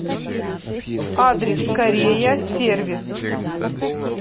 адрес корея сервис